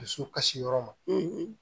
Dusu kasiyɔrɔ ma